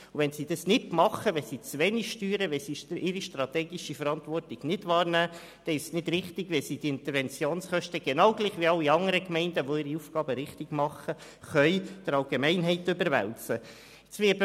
Wenn sie das nicht tun, wenn sie zu wenig steuern und ihre strategische Verantwortung nicht wahrnehmen, ist es nicht richtig, dass sie die Interventionskosten genau gleich wie alle anderen Gemeinden, die ihre Aufgaben richtig machen, der Allgemeinheit überwälzen können.